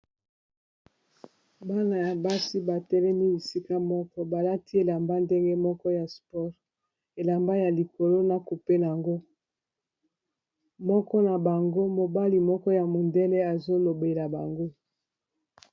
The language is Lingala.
Bana ya basi ba telemi bisika moko ba lati elamba ndenge moko ya sport, elamba ya likolo na cupe na yango, moko na bango mobali moko ya mondele azo lobela bango .